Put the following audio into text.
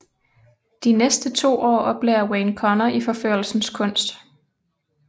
De næste to år oplærer Wayne Connor i forførelsens knust